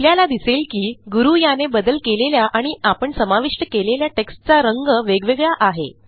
आपल्याला दिसेल की गुरू याने बदल केलेल्या आणि आपण समाविष्ट केलेल्या टेक्स्टचा रंग वेगवेगळा आहे